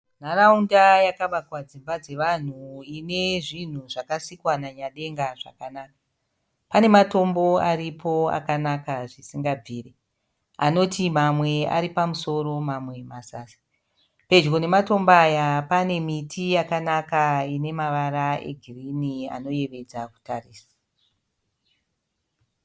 Nharaunda yakavakwa dzimba dzavanhu ine zvinhu zvakasikwa naNyadenga zvakanaka. Pane matombo aripo akanaka zvisingabviri. Anoti mamwe ari pamusoro mamwe mazasi. Pedyo nematombo aya pane miti yakanaka ine mavara egirinhi anoyevedza kuatarisa.